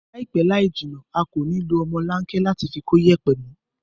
Láìpẹ́ láìjìnà a kò ní lo ọmọlanke láti fi kóyẹ̀pẹ̀ mó